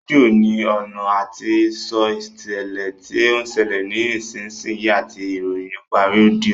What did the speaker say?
Rédíò ní ọ̀nà àti sọ ìṣẹ̀lẹ̀ tí ó ń ṣẹlẹ̀ ní ìsinsìnyí àti ìròyìn nípa ọ́díọ̀